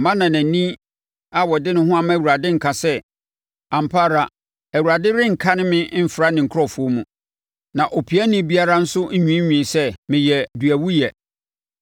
Mma ɔnanani a ɔde ne ho ama Awurade nka sɛ, “Ampa ara Awurade renkane me mfra ne nkurɔfoɔ mu.” Na opiani biara nso nwiinwii sɛ, “Meyɛ duawuiɛ.”